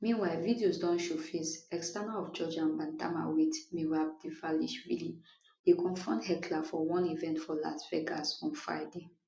meanwhile videos don showface external of georgian bantamweight merab dvalishvili dey confront heckler for one event for las vegas on friday